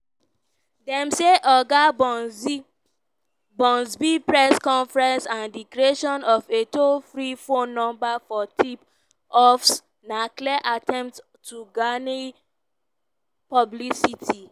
dem say oga press conference and di creation of a toll-free phone number for tip-offs na "clear attempts to garner publicity".